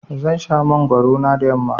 Zan sha mangwaro na da yamma.